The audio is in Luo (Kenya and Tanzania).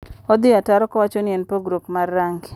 odhi ataro ko wacho ni en pogruok mar rangi.